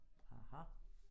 Aha